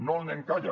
no al nen calla